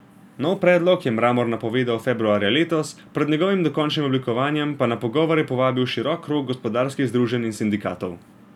Nov predlog je Mramor napovedal februarja letos, pred njegovim dokončnim oblikovanjem pa na pogovore povabil širok krog gospodarskih združenj in sindikatov.